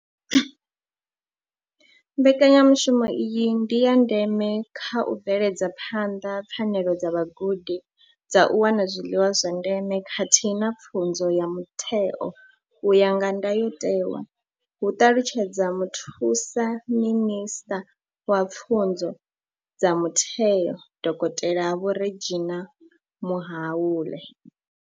Mbekanyamushumo iyi ndi ya ndeme kha u bveledza phanḓa pfanelo dza vhagudi dza u wana zwiḽiwa zwa ndeme khathihi na pfunzo ya mutheo u ya nga ndayotewa, hu ṱalutshedza muthusa minisṱa wa pfunzo dza mutheo, dokotela Vho Reginah Mhaule.